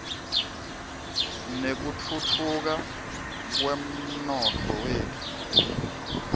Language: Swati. nekutfutfuka kwemnotfo wetfu